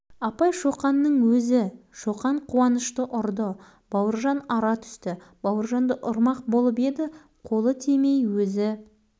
дұрыс екен онда несіне жылайсың ол мені ренжітті апайдың түсі бір суып бір жылыды жөн-ақ байқаймын